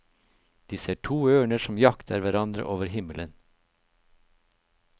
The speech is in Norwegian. De ser to ørner som jakter hverandre over himmelen.